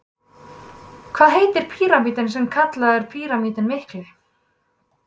Hvað heitir píramítinn sem er kallaður Píramítinn mikli?